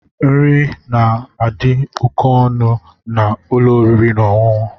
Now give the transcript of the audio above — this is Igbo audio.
Nri di òkè ọnụ na ụlọ oriri na ọṅụṅụ.